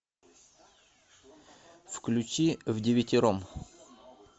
включи вдевятером